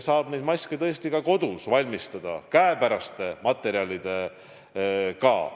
Maske saab tõesti ka kodus valmistada käepäraste materjalidega.